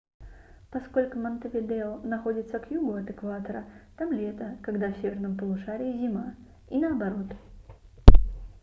поскольку монтевидео находится к югу от экватора там лето когда в северном полушарии зима и наоборот